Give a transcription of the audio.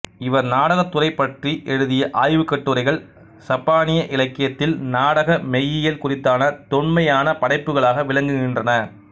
இவர் நாடகத்துறை பற்றி எழுதிய ஆய்வுக்கட்டுரைகள் சப்பானிய இலக்கியத்தில் நாடக மெய்யியல் குறித்தான தொன்மையான படைப்புகளாக விளங்குகின்றன